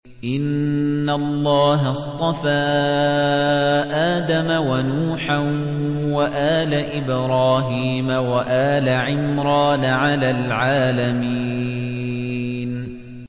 ۞ إِنَّ اللَّهَ اصْطَفَىٰ آدَمَ وَنُوحًا وَآلَ إِبْرَاهِيمَ وَآلَ عِمْرَانَ عَلَى الْعَالَمِينَ